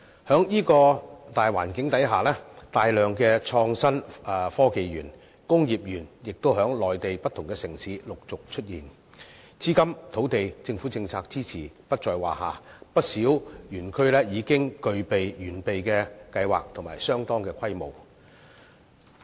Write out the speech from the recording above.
在這樣的大環境下，大量的創新科技園和工業園亦在內地不同城市陸續出現，資金、土地、政府政策支持不在話下，不少園區已經具備完備的計劃及相當的規模。